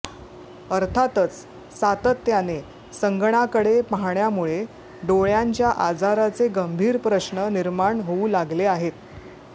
अर्थातच सातत्याने संगणकाकडे पाहण्यामुळे डोळ्यांच्या आजाराचे गंभीर प्रश्न निर्माण होऊ लागले आहेत